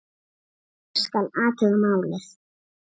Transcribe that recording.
Ég skal athuga málið